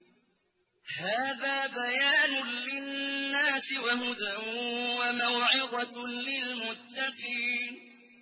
هَٰذَا بَيَانٌ لِّلنَّاسِ وَهُدًى وَمَوْعِظَةٌ لِّلْمُتَّقِينَ